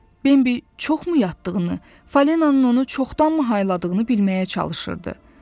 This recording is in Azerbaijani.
Bembi çoxmu yatdığını, Falinanın onu çoxdanmı hayladığını bilməyə çalışırdı.